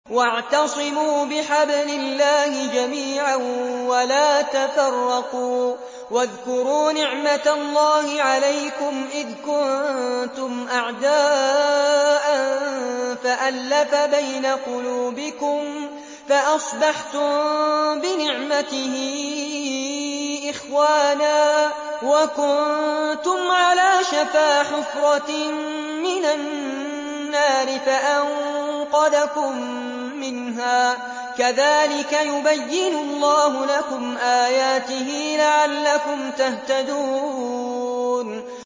وَاعْتَصِمُوا بِحَبْلِ اللَّهِ جَمِيعًا وَلَا تَفَرَّقُوا ۚ وَاذْكُرُوا نِعْمَتَ اللَّهِ عَلَيْكُمْ إِذْ كُنتُمْ أَعْدَاءً فَأَلَّفَ بَيْنَ قُلُوبِكُمْ فَأَصْبَحْتُم بِنِعْمَتِهِ إِخْوَانًا وَكُنتُمْ عَلَىٰ شَفَا حُفْرَةٍ مِّنَ النَّارِ فَأَنقَذَكُم مِّنْهَا ۗ كَذَٰلِكَ يُبَيِّنُ اللَّهُ لَكُمْ آيَاتِهِ لَعَلَّكُمْ تَهْتَدُونَ